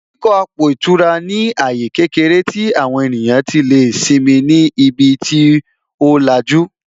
Ìdíkọ̀ àpò ìtura ní àyè kékeré tí àwọn ènìyàn tí lè simi ni ibi tí ó lajú